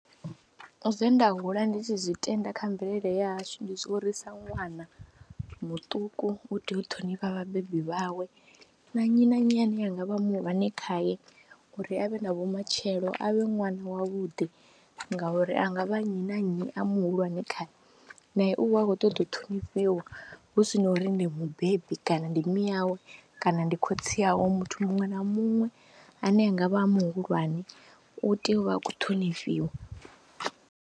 Zwe nda hula ndi tshi zwi tenda kha mvelele yashu ndi zwa uri sa ṅwana muṱuku u tea u ṱhonifha vhabebi vhawe na nnyi na nnyi ane anga vha muhulwane khaye uri a vhe na vhumatshelo, a vhe ṅwana wavhuḓi ngauri a nga vha nnyi na nnyi a muhulwane khae nae u vha a khou ṱoḓa u ṱhonifhiwa hu si na uri ndi mubebi kana ndi mme awe kana ndi khotsi awe, muthu muṅwe na muṅwe ane a nga vha muhulwane u tea u vha a khou ṱhonifhiwa.